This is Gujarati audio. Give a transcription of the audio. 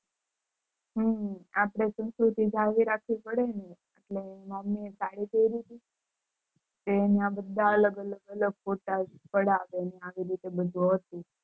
હમ અપડે સંસ્કૃતિ જાળવી રાખવી પડે ને એટલે મમ્મી એ સદી પેરી હતી તે ના બધે એ અલગ અલગ photo પડ્યા આવી રીતે બધું હતું